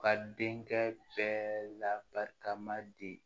Ka denkɛ bɛɛ labarikama di